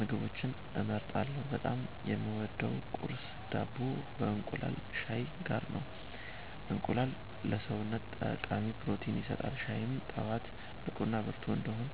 ምግቦችን እመርጣለሁ። በጣም የምወደው ቁርስ ዳቦ ከእንቁላልና ሻይ ጋር ነው። እንቁላል ለሰውነት ጠቃሚ ፕሮቲን ይሰጣል፣ ሻይም ጠዋት ንቁና ብርቱ እንድሆን